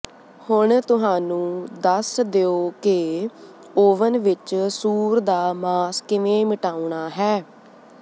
ਹੁਣ ਤੁਹਾਨੂੰ ਦੱਸ ਦਿਓ ਕਿ ਓਵਨ ਵਿਚ ਸੂਰ ਦਾ ਮਾਸ ਕਿਵੇਂ ਮਿਟਾਉਣਾ ਹੈ